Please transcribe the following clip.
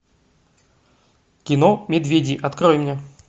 кино медведи открой мне